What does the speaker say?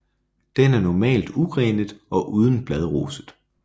Den er normalt ugrenet og uden bladroset